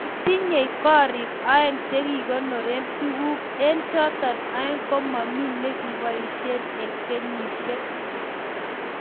Kitinyei korik aeng chegikonoren tuguk, eng choto aeng komami negikebaishe eng kenyishiek